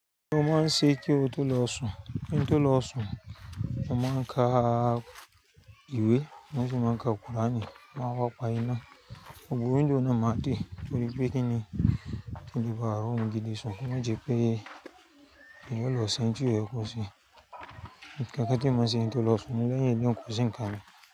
Mọnmáa ń ṣe kí n tó lọ sùn, mo máa ń ka ìwé, mọ́ sì máa ń ka kùránì, máa wá pa iná, gbogbo window náni máa dé torí pé kí ni? Kí le bàá ri orún gidi sun ko ma jẹ́ pé èèyàn ò lọ se oùn ti ko yé kó se, nkákán tí eyan ma ṣe kí n tó lọ sùn lẹ́yìn leyin eleyi ko sìn nká mi.